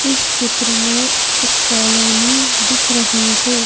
इस चित्र में एक कॉलोनी दिख रही है।